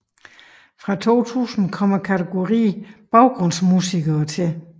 Fra 2000 kom kategorien baggrundsmusikere til